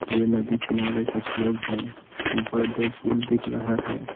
यह नदी किनारे कुछ लोग हैं ऊपर दो पुल दिख रहा है।